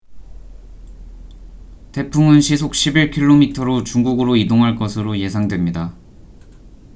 태풍은 시속 11킬로미터로 중국으로 이동할 것으로 예상됩니다